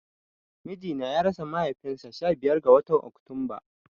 Mijina ya rasa mahaifin sa sha biyar ga watan Oktunba